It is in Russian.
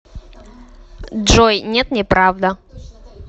джой нет неправда